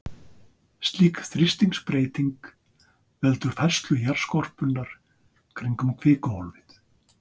Slík þrýstingsbreyting veldur færslu jarðskorpunnar kringum kvikuhólfið.